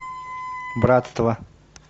братство